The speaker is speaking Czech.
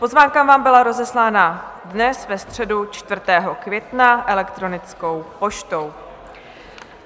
Pozvánka vám byla rozeslána dnes, ve středu 4. května, elektronickou poštou.